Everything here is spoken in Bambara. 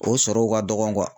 O sɔrɔw ka dɔgɔ kuwa